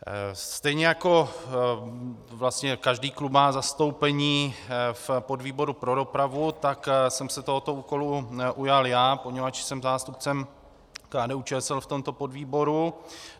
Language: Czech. Stejně jako vlastně každý klub má zastoupení v podvýboru pro dopravu, tak jsem se tohoto úkolu ujal já, poněvadž jsem zástupcem KDU-ČSL v tomto podvýboru.